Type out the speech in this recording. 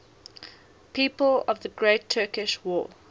people of the great turkish war